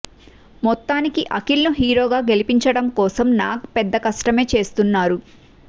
మొత్తానికి అఖిల్ ను హీరో గా గెలిపించడం కోసం నాగ్ పెద్ద కష్టమే చేస్తున్నారు